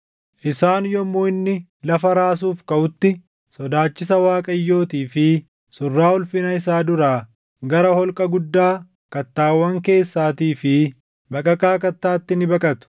Isaan yommuu inni lafa raasuuf kaʼutti sodaachisa Waaqayyootii fi surraa ulfina isaa duraa gara holqa guddaa kattaawwan keessaatii fi baqaqaa kattaatti ni baqatu.